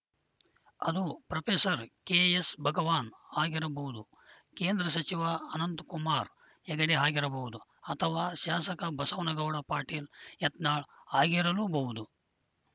ಅದು ಪ್ರೊಫೆಸರ್ ಕೆಎಸ್‌ಭಗವಾನ್‌ ಆಗಿರಬಹುದು ಕೇಂದ್ರ ಸಚಿವ ಅನಂತಕುಮಾರ್‌ ಹೆಗಡೆ ಆಗಿರಬಹುದು ಅಥವಾ ಶಾಸಕ ಬಸವನಗೌಡ ಪಾಟೀಲ್‌ ಯತ್ನಾಳ್‌ ಆಗಿರಲೂಬಹುದು